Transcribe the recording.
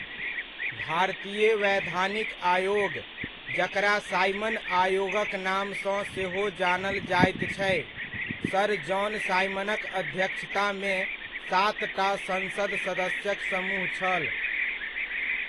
भारतीय वैधानिक आयोग जकरा साइमन आयोगक नामसँ सेहो जानल जायत छै, सर जॉन साइमनक अध्यक्षतामे सातटा संसद सदस्यक समूह छल।